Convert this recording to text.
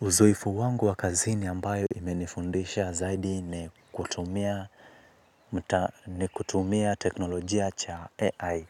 Uzoefu wangu wa kazini ambayo imenifundisha zaidi ni kutumia ni kutumia teknolojia cha AI